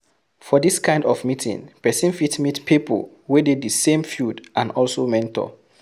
For this kind of meeting person fit meet pipo wey dey di same field and also mentor